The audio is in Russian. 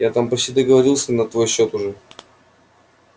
я там почти договорился на твой счёт уже